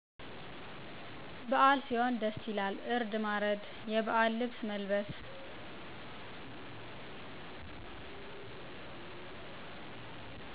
በአል ሢሆን ደስ ይላል እርድ ማረድ የባህል ልብስ መልበስ